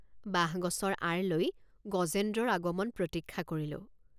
বাঁহগছৰ আঁৰ লৈ গজেন্দ্ৰৰ আগমন প্ৰতীক্ষা কৰিলোঁ।